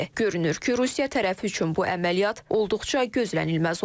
Görünür ki, Rusiya tərəf üçün bu əməliyyat olduqca gözlənilməz olub.